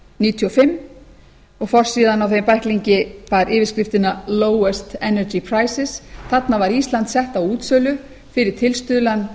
níutíu og fimm og forsíðan á þeim bæklingi bar yfirskriftina lowest energy prices þarna var ísland sett á útsölu fyrir tilstuðlan